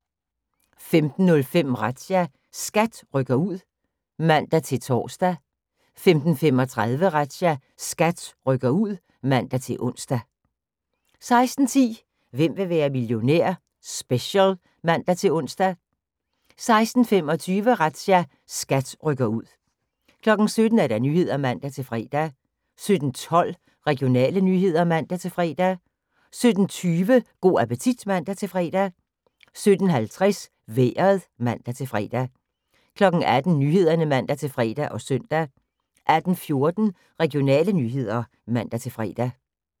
15:05: Razzia – SKAT rykker ud (man-tor) 15:35: Razzia – SKAT rykker ud (man-ons) 16:10: Hvem vil være millionær? Special (man-ons) 16:25: Razzia – SKAT rykker ud 17:00: Nyhederne (man-fre) 17:12: Regionale nyheder (man-fre) 17:20: Go' appetit (man-fre) 17:50: Vejret (man-fre) 18:00: Nyhederne (man-fre og søn) 18:14: Regionale nyheder (man-fre)